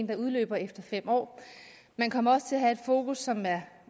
der udløber efter fem år man kommer også til at have et fokus som er